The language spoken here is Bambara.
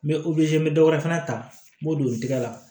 N bɛ n bɛ dɔ wɛrɛ fana ta n b'o don tigɛ la